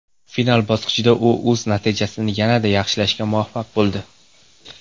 Final bosqichda u o‘z natijasini yanada yaxshilashga muvaffaq bo‘ldi.